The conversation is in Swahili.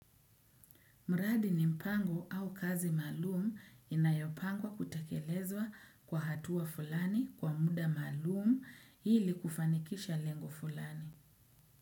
Mradi nimpango au kazi maalumu inayopangwa kutekelezwa kwa hatua fulani kwa muda maalumu ili kufanikisha lengo fulani.